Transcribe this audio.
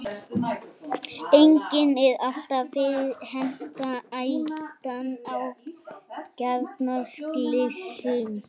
Einnig er alltaf fyrir hendi hættan á kjarnorkuslysum.